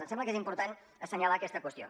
em sembla que és important assenyalar aquesta qüestió